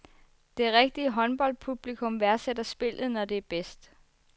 Det rigtige håndboldpublikum værdsætter spillet, når det er bedst.